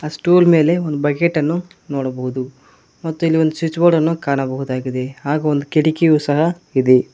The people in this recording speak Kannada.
ಸ್ಟೂಲ್ ಮೇಲೆ ಒಂದು ಬಕೇಟನ್ನು ನೋಡ್ಬಹುದು ಮತ್ತು ಇಲ್ ಒಂದು ಸ್ವಿಚ್ ಬೋರ್ಡನ್ನು ಕಾಣಬಹುದಾಗಿದೆ ಹಾಗು ಒಂದು ಕಿಟಕಿಯು ಸಹ ಇದೆ.